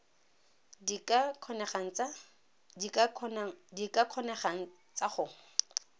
di ka kgonegang tsa go